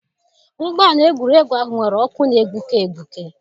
Ụgbọ ala egwuregwu ahụ nwere ọkụ na-egbuke egbuke.